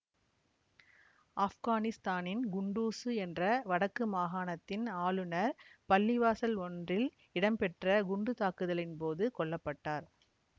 ஆப்கானிஸ்தானின் குண்டூசு என்ற வடக்கு மாகாணத்தின் ஆளுநர் பள்ளிவாசல் ஒன்றில் இடம்பெற்ற குண்டுத்தாக்குதலின் போது கொல்ல பட்டார்